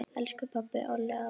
Elsku pabbi, Olli, afi.